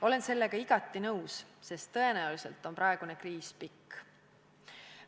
Olen sellega igati nõus, sest tõenäoliselt on praegune kriis pikk.